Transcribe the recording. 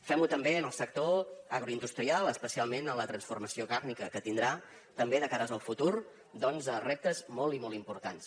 fem ho també en el sector agroindustrial especialment en la transformació càrnia que tindrà també de cara al futur reptes molt i molt importants